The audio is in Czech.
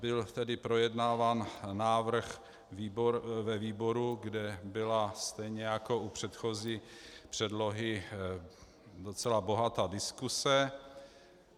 Byl tedy projednáván návrh ve výboru, kde byla stejně jako u předchozí předlohy docela bohatá diskuse.